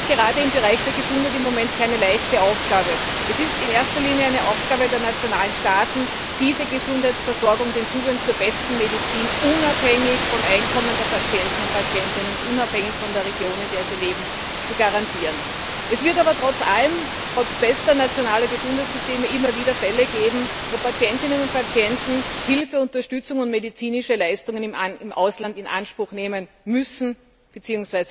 Das ist gerade im Bereich der Gesundheit im Moment keine leichte Aufgabe. Es ist in erster Linie eine Aufgabe der nationalen Staaten, diese Gesundheitsversorgung, den Zugang zur besten Medizin unabhängig vom Einkommen der Patientinnen und Patienten und unabhängig von der Region, in der sie leben, zu garantieren. Es wird aber trotz bester nationaler Gesundheitssysteme immer wieder Fälle geben, bei denen Patientinnen und Patienten Hilfe, Unterstützung und medizinische Leistungen im Ausland in Anspruch nehmen müssen bzw.